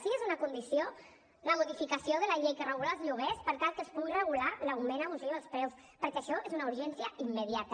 sí que és una condició la modificació de la llei que regula els lloguers per tal que es pugui regular l’augment abusiu dels preus perquè això és una urgència immediata